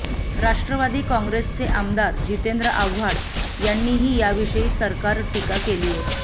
राष्ट्रवादी काँग्रेसचे आमदार जितेंद्र आव्हाड यांनीही याविषयी सरकार टीका केलीय